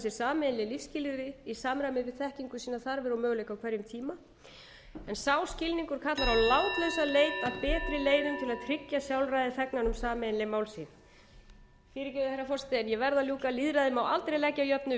sameiginleg lífsskilyrði í samræmi við þekkingu sína þarfir og möguleika á hverjum tíma en sá skilningur kallar á látlausa leit að betri leiðum til að tryggja sjálfræði þegnanna um sameiginleg málxxxx fyrirgefðu herra forseti en ég verð að ljúka lýðræðið má aldrei leggja að jöfnu við